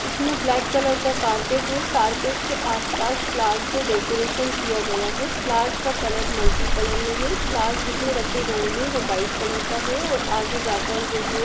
इसमें black colour का कारपेट है| कारपेट के आस पास फ्लार्स से डैकोरेशन किया गया है| फ्लार्स का कलर मल्टीकलर में है| फ्लावर्स जिसमें रखे गए हैं वो व्हाइट कलर का है और आगे जाकर जो है।